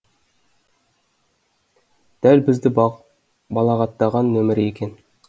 дәл бізді балағаттаған нөмірі екен